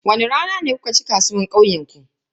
Wani rana ne kuke cin kasuwar kauyenku?